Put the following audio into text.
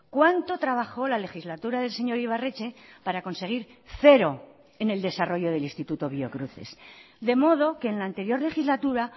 cuánto trabajó la legislatura del señor ibarretxe para conseguir cero en el desarrollo del instituto biocruces de modo que en la anterior legislatura